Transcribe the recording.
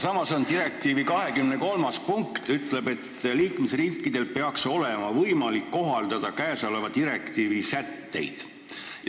Samas ütleb direktiivi 23. punkt, et liikmesriikidel peaks olema võimalik ka neile kohaldada käesoleva direktiivi sätteid.